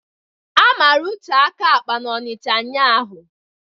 A mara Uche aka akpa n'Onicha ụnyaahụ